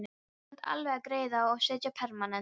Þú kannt alveg að greiða og setja permanent